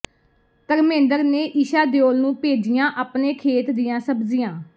ਧਰਮੇਂਦਰ ਨੇ ਈਸ਼ਾ ਦਿਓਲ ਨੂੰ ਭੇਜੀਆਂ ਅਪਣੇ ਖੇਤ ਦੀਆਂ ਸਬਜ਼ੀਆਂ